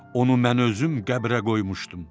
Onu mən özüm qəbrə qoymuşdum.